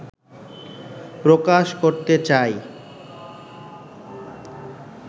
প্রকাশ করতে চায়